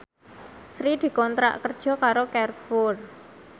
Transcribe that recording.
Sri dikontrak kerja karo Carrefour